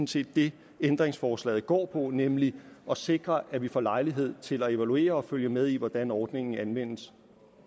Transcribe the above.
set det ændringsforslaget går på nemlig at sikre at vi får lejlighed til at evaluere og følge med i hvordan ordningen anvendes